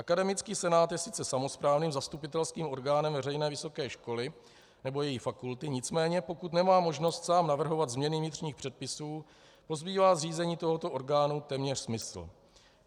Akademický senát je sice samosprávným zastupitelským orgánem veřejné vysoké školy nebo její fakulty, nicméně pokud nemá možnost sám navrhovat změny vnitřních předpisů, pozbývá zřízení tohoto orgánu téměř smysl.